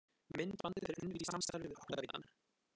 Myndbandið er unnið í samstarfi við Áttavitann.